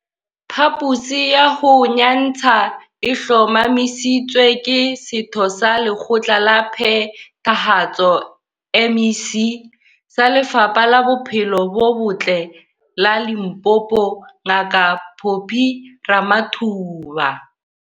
Phaposi ya ho nyantsha e hlomamisitswe ke Setho sa Lekgotla la Phethahatso, MEC, sa Lefapha la Bophelo bo Botle la Limpopo Ngaka Phophi Ramathuba.